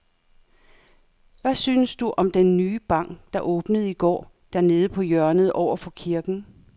Hvad synes du om den nye bank, der åbnede i går dernede på hjørnet over for kirken?